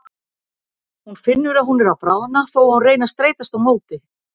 Hún finnur að hún er að bráðna þó að hún reyni að streitast á móti.